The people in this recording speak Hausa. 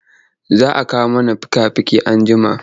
Za a kawo mana fika-fiki anjima.